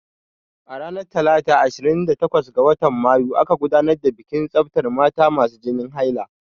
Ranar talata ashirin da takwas ga watan mayu aka gudanar da bikin tsaftan mata masu jinin haila.